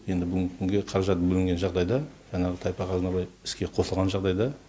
енді бүгінгі күнге қаражат бөлінген жағдайда жаңағы тайпақ азынабай іске қосылған жағдайда